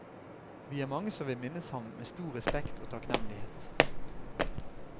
Vi er mange som vil minnes ham med stor respekt og takknemlighet.